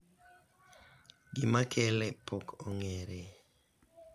gima kele pok ong'ere